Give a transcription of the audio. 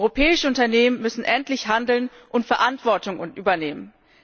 Europäische Unternehmen müssen endlich handeln und Verantwortung übernehmen.